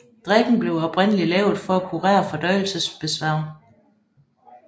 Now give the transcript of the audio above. Drikken blev oprindelig lavet for at kurere fordøjelsesbesvær